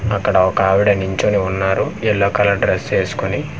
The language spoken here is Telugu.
అక్కడ ఒకావిడ నించొని వున్నారు ఎల్లో కలర్ డ్రస్ ఏస్కొని.